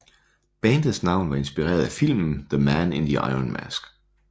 Bandets navn var inspireret af filmen The Man in the Iron Mask